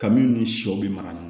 Kabini ni sɔ bɛ mara ni